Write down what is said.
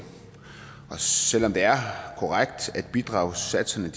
og selv om det er korrekt at bidragssatserne